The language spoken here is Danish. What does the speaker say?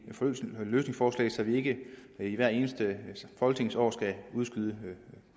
løsningsforslag så vi ikke i hvert eneste folketingsår skal udskyde